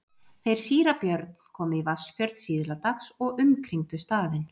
Þeir síra Björn komu í Vatnsfjörð síðla dags og umkringdu staðinn.